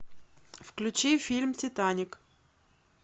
включи фильм титаник